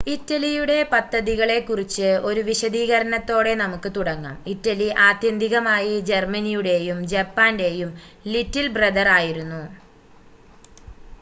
"ഇറ്റലിയുടെ പദ്ധതികളെക്കുറിച്ച് ഒരു വിശദീകരണത്തോടെ നമുക്ക് തുടങ്ങാം.ഇറ്റലി ആത്യന്തികമായി ജർമ്മനിയുടെയും ജപ്പാന്റെയും "ലിറ്റിൽ ബ്രദർ" ആയിരുന്നു.